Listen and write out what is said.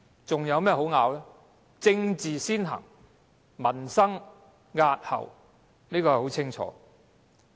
政治先行，民生押後，這已十分清楚。